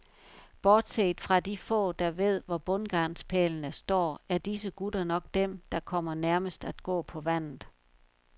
Bortset fra de få, der ved hvor bundgarnspælene står, er disse gutter nok dem, der kommer nærmest at gå på vandet.